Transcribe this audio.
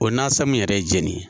O nasan mun yɛrɛ ye jeni ye.